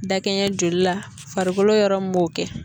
Dakɛɲɛ joli la farikolo yɔrɔ min b'o kɛ.